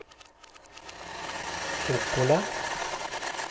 Obbola